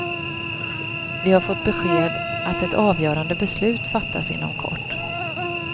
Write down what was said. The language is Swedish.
Vi har fått besked att ett avgörande beslut fattas inom kort.